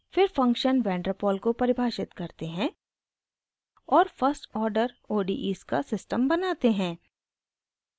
फिर function vander pol को परिभाषित करते हैं और फर्स्ट आर्डर odes का सिस्टम बनाते हैं